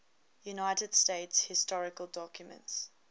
united states historical documents